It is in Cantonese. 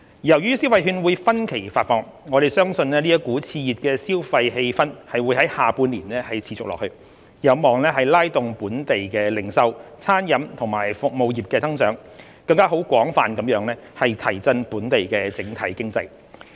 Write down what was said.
由於消費券會分期發放，我們相信這股熾熱的消費氣氛會在下半年持續下去，有望拉動本地零售、餐飲及服務業的增長，更廣泛地提振本地整體經濟。